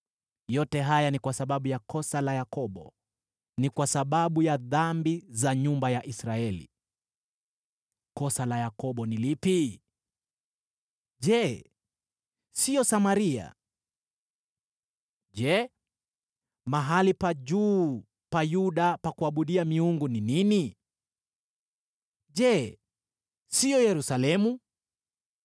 Yote haya ni kwa sababu ya kosa la Yakobo, ni kwa sababu ya dhambi za nyumba ya Israeli. Kosa la Yakobo ni lipi? Je, sio Samaria? Je, mahali pa juu pa Yuda pa kuabudia miungu ni nini? Je, sio Yerusalemu?